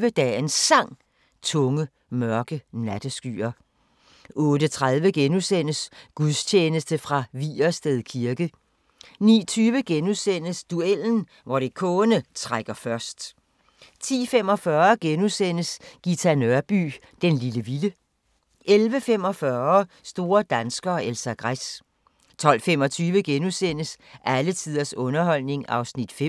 08:25: Dagens Sang: Tunge, mørke natteskyer 08:30: Gudstjeneste fra Vigersted kirke * 09:20: Duellen – Morricone trækker først * 10:45: Ghita Nørby "Den lille vilde" 11:45: Store danskere - Elsa Gress 12:25: Alle tiders underholdning (5:8)*